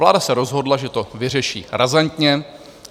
Vláda se rozhodla, že to vyřeší razantně.